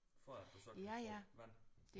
For at du så kan få vand